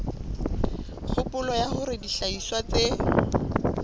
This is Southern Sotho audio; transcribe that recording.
kgopolo ya hore dihlahiswa tse